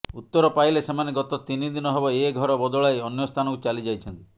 ଉତ୍ତର ପାଇଲେ ସେମାନେ ଗତ ତିନିଦିନ ହେବ ଏ ଘର ବଦଳାଇ ଅନ୍ୟସ୍ଥାନକୁ ଚାଲି ଯାଇଛନ୍ତି